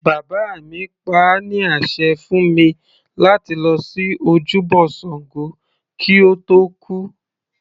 Bàbá mi pa á ní àṣẹ fún mi láti lọ sí ojúbọ ṣàngó kí ó tó kú.